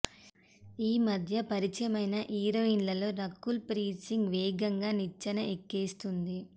ఈమధ్య పరిచయమైన హీరోయిన్లలో రకుల్ ప్రీత్ సింగ్ వేగంగా నిచ్చెన ఎక్కేస్తోంది